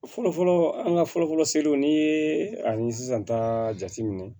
Fɔlɔfɔlɔ an ka fɔlɔfɔlɔ seliw n'i ye a ye sisan ta jate minɛ